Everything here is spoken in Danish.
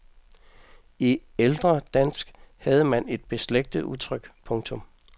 I ældre dansk havde man et beslægtet udtryk. punktum